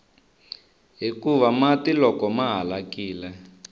hikuva mati loko ma halakile